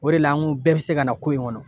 O de la an ko bɛɛ bɛ se ka na ko in kɔnɔ